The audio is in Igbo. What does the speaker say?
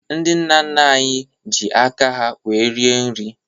Ndị nna nna anyị ji aka ha wéé rie nri